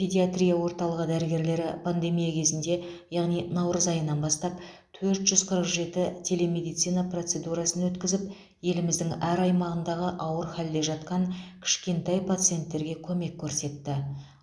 педиатрия орталығы дәрігерлері пандемия кезінде яғни наурыз айынан бастап төрт жүз қырық жеті телемедицина процедурасын өткізіп еліміздің әр аймағындағы ауыр халде жатқан кішкентай пациенттерге көмек көрсетті